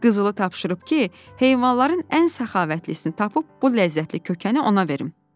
Qızılı tapşırıb ki, heyvanların ən səxavətlisini tapıb bu ləzzətli kökəni ona verim.”